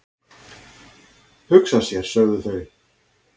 """Hugsa sér, sögðu þau."""